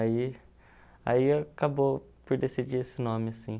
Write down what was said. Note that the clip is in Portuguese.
Aí aí acabou por decidir esse nome, assim.